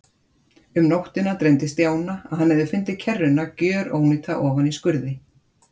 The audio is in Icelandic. Um nóttina dreymdi Stjána að hann hefði fundið kerruna gjörónýta ofan í skurði.